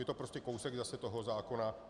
Je to prostě kousek zase toho zákona.